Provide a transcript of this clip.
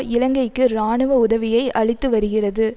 இலங்கைக்கு இராணுவ உதவியை அளித்து வருகிறது